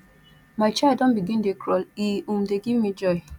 my child don begin dey crawl e um dey give me joy